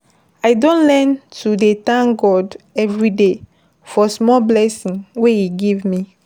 I don learn to dey thank God everyday for small blessing wey e give me.